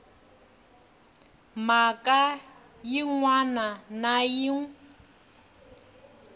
mhaka yin wana na yin